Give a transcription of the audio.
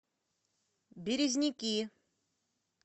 березники